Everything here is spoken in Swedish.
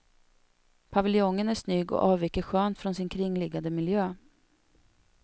Paviljongen är snygg och avviker skönt från sin kringliggande miljö.